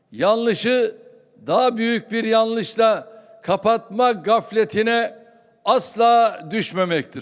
Yanlışı daha büyük bir yanlışla kapatma gafletinə asla düşməməkdir.